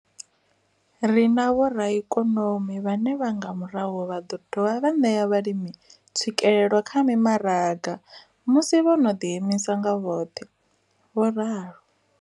Ri na vhoraikonomi vhane nga murahu vha ḓo dovha vha ṋea vhalimi tswikelelo kha mimaraga musi vho no ḓiimisa nga vhoṱhe. vho ralo.